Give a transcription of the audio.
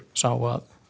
sá að